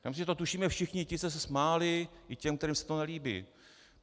Já myslím, že to tušíme všichni ti, co se smáli, i ti, kterým se to nelíbí.